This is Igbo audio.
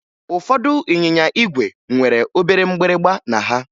Ụfọdụ ịnyịnya ígwè nwere obere mgbịrịmgba na ha